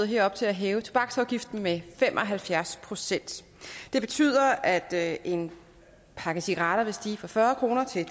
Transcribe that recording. her op til at hæve tobaksafgiften med fem og halvfjerds procent det betyder at en pakke cigaretter vil stige fra fyrre kroner til